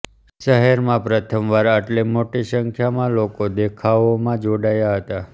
શહેરમાં પ્રથમવાર આટલી મોટી સંખ્યામાં લોકો દેખાવોમાં જોડાયા હતાં